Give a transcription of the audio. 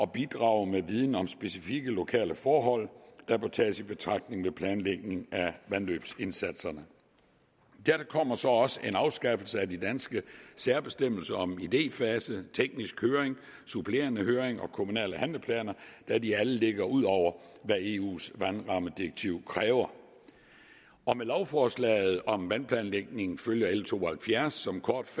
bidrage med viden om specifikke lokale forhold der bør tages i betragtning ved planlægning af vandløbsindsatserne dertil kommer så også en afskaffelse af de danske særbestemmelser om idéfase teknisk høring supplerende høring og kommunale handleplaner da de alle ligger ud over hvad eus vandrammedirektiv kræver med lovforslaget om vandplanlægning følger l to og halvfjerds som kort